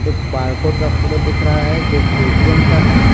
एक बारकोड का फोटो दिख रहा है जो पेटीएम का है।